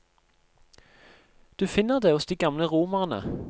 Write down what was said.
Du finner det hos de gamle romerne.